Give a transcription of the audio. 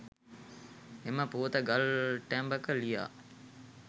එම පුවත ගල් ටැඹක ලියා